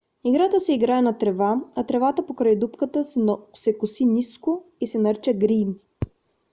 играта се играе на трева а тревата покрай дупката се коси ниско и се нарича грийн